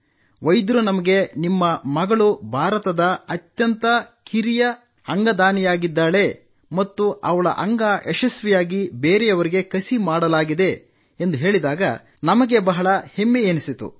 ವೈದ್ಯರು ನಮಗೆ ನಿಮ್ಮ ಮಗಳು ಭಾರತದ ಅತ್ಯಂತ ಕಿರಿಯ ವಯಸ್ಸಿನ ಅಂಗದಾನಿಯಾಗಿದ್ದಾಳೆ ಮತ್ತು ಅವಳ ಅಂಗ ಯಶಸ್ವಿಯಾಗಿ ಬೇರೆಯವರಿಗೆ ಕಸಿ ಮಾಡಲಾಗಿದೆ ಎಂದು ಹೇಳಿದಾಗ ನಮಗೆ ಬಹಳ ಹೆಮ್ಮೆಯೆನಿಸಿತು